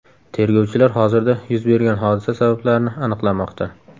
Tergovchilar hozirda yuz bergan hodisa sabablarini aniqlamoqda.